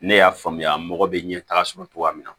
Ne y'a faamuya mɔgɔ bɛ ɲɛ taga sɔrɔ cogoya min na